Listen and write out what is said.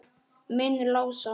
Minn Lása?